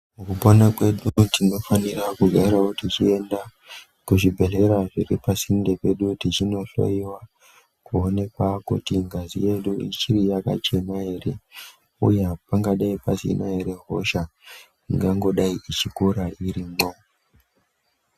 Mukupona kwedu tinofanira kugarawo tichienda kuzvibhehlera zviri pasinde pedu tichinohloyiwa kuonekwa kuti ngazi yedu ichiri yakachena here. Uye hapangangodai pasina here hosha ingangodai ichipona irimwo.